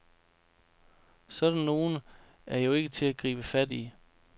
Sådan nogle er jo ikke til at gribe fat i.